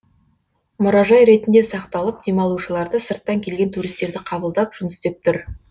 мұражай ретінде сақталып демалушыларды сырттан келген туристерді қабылдап жұмыс істеп тұр